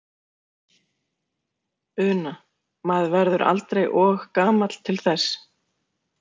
Una: Maður verður aldrei og gamall til þess?